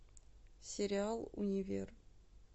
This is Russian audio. сериал универ